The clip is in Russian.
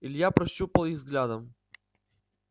илья прощупал их взглядом